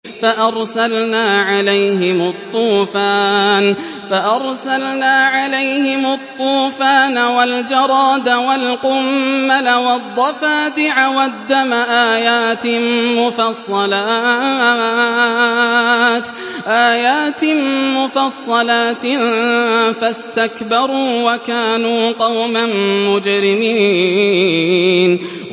فَأَرْسَلْنَا عَلَيْهِمُ الطُّوفَانَ وَالْجَرَادَ وَالْقُمَّلَ وَالضَّفَادِعَ وَالدَّمَ آيَاتٍ مُّفَصَّلَاتٍ فَاسْتَكْبَرُوا وَكَانُوا قَوْمًا مُّجْرِمِينَ